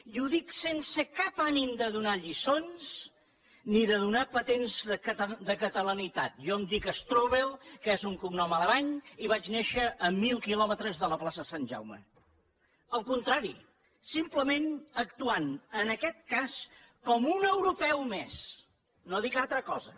i ho dic sense cap ànim de donar lliçons ni de donar patents de catalanitat jo em dic strubell que és un cognom alemany i vaig néixer a mil quilòmetres de la plaça sant jaume al contrari simplement actuant en aquest cas com un europeu més no dic altra cosa